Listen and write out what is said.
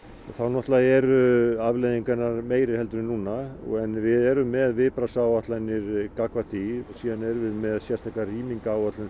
þá náttúrulega eru afleiðingarnar meiri en núna en við erum með viðbragðsáætlanir gagnvart því síðan erum við með sérstakar rýmingaráætlanir